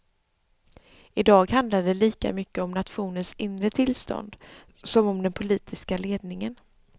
I dag handlar det lika mycket om nationens inre tillstånd som om den politiska ledningen.